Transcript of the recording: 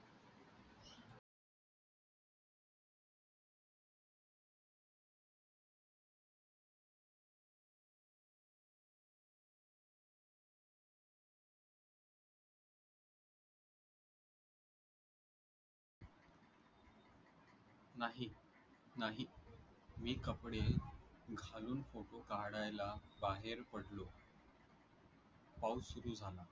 नाही नाही मी कपडे घालून फोटो काढायला बाहेर पडलो पाऊस सुरु झाला